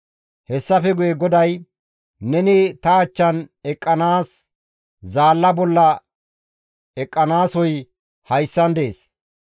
Hessafe guye GODAY, «Neni ta achchan eqqanaas zaalla bolla eqqanasoy hayssan dees.